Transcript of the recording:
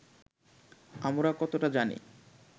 আমরা কতটা জানি